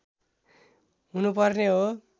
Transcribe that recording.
हुनुपर्ने हो